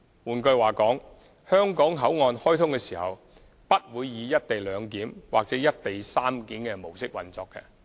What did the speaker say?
換句話說，香港口岸開通時不會以"一地兩檢"或"一地三檢"模式運作。